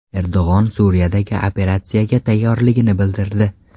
Erdo‘g‘on Suriyadagi operatsiyaga tayyorligini bildirdi.